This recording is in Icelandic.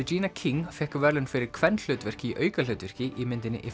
regina King fékk verðlaun fyrir kvenhlutverk í aukahlutverki í myndinni